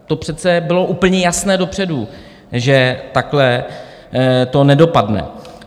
To přece bylo úplně jasné dopředu, že takhle to nedopadne.